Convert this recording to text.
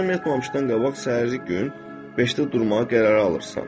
Axşam yatmamışdan qabaq səhəri gün beşdə durmağa qərar alırsan.